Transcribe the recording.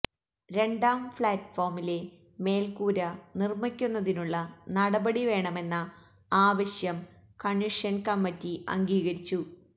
രണ്ടാം ഫഌറ്റ് ഫോമിലെ മേല്ക്കൂര നിര്മ്മിക്കുന്നതിനുളള നടപടി വേണമെന്ന ആവശ്യം കണ്വന്ഷന് കമ്മറ്റി അംഗീകരിച്ചു